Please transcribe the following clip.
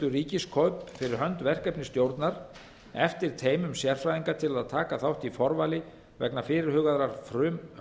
ríkiskaup fh verkefnisstjórnar eftir teymum sérfræðinga til að taka þátt í forvali vegna fyrirhugaðrar